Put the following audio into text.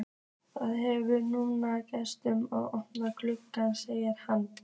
Þið hefðuð nú getað opnað gluggann, segir hann.